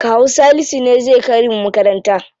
Kawu Salisu ne zai kai mu makaranta.